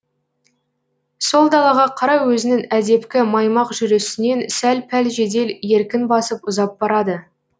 сол далаға қарай өзінің әдепкі маймақ жүрісінен сәл пәл жедел еркін басып ұзап барады